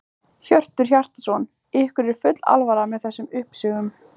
Hjörtur Hjartarson: Ykkur er full alvara með þessum uppsögnum?